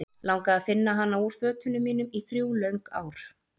Langaði að finna hana úr fötunum mínum í þrjú löng ár.